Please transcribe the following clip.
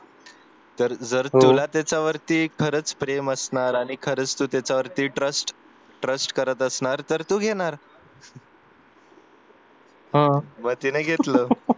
तर तुला त्याच्यावरती कारच जर प्रेम असणार आणि खरच तू त्याच्यावरती trust trust करत असणार तर तू घेणार मग तिने घेतलं